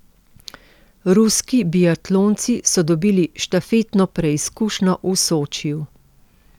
Ruski biatlonci so dobili štafetno preizkušnjo v Sočiju.